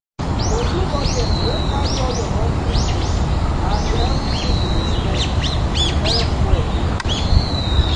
to do budget wey carry all your monthly bills and everything you dey spend dey help well.